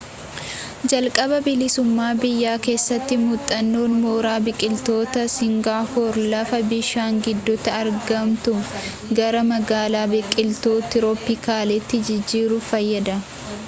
jalqaba bilisummaa biyyaa keessatti muuxannoon mooraa biqiltootaa singaapoor lafa bishaan gidduutti argamtu gara magaalaa biqiltuu tirooppikaalaatti jijjiiruuf fayyada